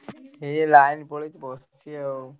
ଏଇ line ପଳେଇଛି ବସିଛି ଆଉ।